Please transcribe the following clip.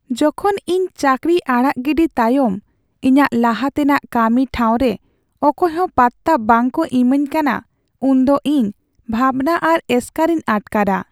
ᱡᱚᱠᱷᱚᱱ ᱤᱧ ᱪᱟᱹᱠᱨᱤ ᱟᱲᱟᱜ ᱜᱤᱰᱤ ᱛᱟᱭᱚᱢ ᱤᱧᱟᱹᱜ ᱞᱟᱦᱟ ᱛᱮᱱᱟᱜ ᱠᱟᱹᱢᱤ ᱴᱷᱟᱣᱨᱮ ᱚᱠᱚᱭᱦᱚᱸ ᱯᱟᱛᱛᱟ ᱵᱟᱝᱠᱚ ᱤᱢᱟᱹᱧ ᱠᱟᱱᱟ ᱩᱱᱫᱚ ᱤᱧ ᱵᱷᱟᱵᱽᱱᱟ ᱟᱨ ᱮᱥᱠᱟᱨᱤᱧ ᱟᱴᱠᱟᱨᱟ ᱾